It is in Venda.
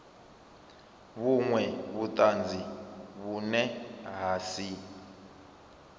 vhunwe vhutanzi vhune ha si